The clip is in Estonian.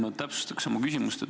Ma täpsustan oma küsimust.